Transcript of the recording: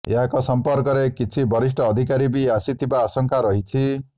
ଏହାଙ୍କ ସମ୍ପର୍କରେ କିଛି ବରିଷ୍ଠ ଅଧିକାରୀ ବି ଆସିଥିବା ଆଶଙ୍କା ରହିଛି